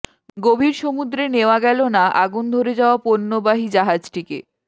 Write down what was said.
গভীর সমুদ্রে নেওয়া গেল না আগুন ধরে যাওয়া পণ্যবাহী জাহাজটিকে